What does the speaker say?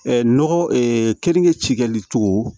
nɔgɔ keninke ci kɛli cogo